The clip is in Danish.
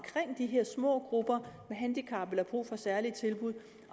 de her små grupper med handicap med brug for særlige tilbud